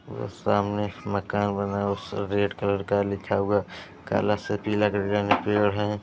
पूरा सामने मकान बना हुआ है उस रेड कलर का लिखा हुआ है काला से पीला के डिजाइन में पेड़ है।